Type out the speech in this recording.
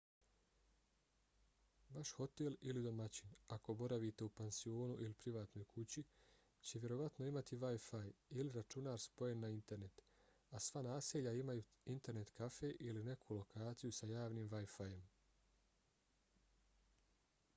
vaš hotel ili domaćini ako boravite u pansionu ili privatnoj kući će vjerovatno imati wi-fi ili računar spojen na internet a sva naselja imaju internet kafe ili neku lokaciju s javnim wi-fijem